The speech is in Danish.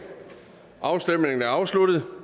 afstemningen er afsluttet